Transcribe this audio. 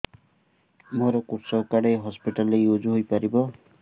ମୋର କୃଷକ କାର୍ଡ ଏ ହସପିଟାଲ ରେ ୟୁଜ଼ ହୋଇପାରିବ